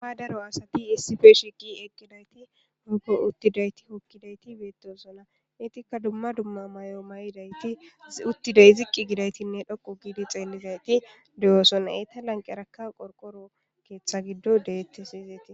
Dro asathi issipe shiiqi eqqidida ethi beeththoosona; ethikka dumma dumma mayo mayida ethi ziqqi gizeythinne xoqqu giidi xeellida ethi de7oosona; eetha lanqqerakka keeththa giddoy beeththees.